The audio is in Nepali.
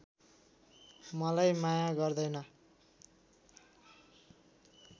मलाई माया गर्दैन